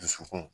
Dusukun